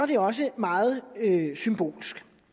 det også meget symbolsk